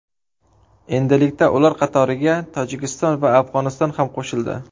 Endilikda ular qatoriga Tojikiston va Afg‘oniston ham qo‘shildi.